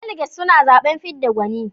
Daliget suna zaɓen fidda gwani.